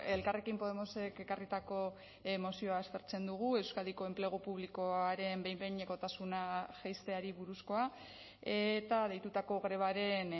elkarrekin podemosek ekarritako mozioa aztertzen dugu euskadiko enplegu publikoaren behin behinekotasuna jaisteari buruzkoa eta deitutako grebaren